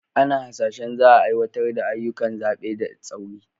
Ana hasashen za a aiwatar da ayyukan zaɓe da tsauri.